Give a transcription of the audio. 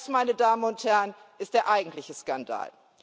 Das, meine Damen und Herren, ist der eigentliche Skandal!